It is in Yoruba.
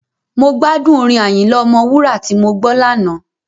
Mo gbádùn orin Àyìnlà Ọmọwúrà tí mo gbọ́ lánàá.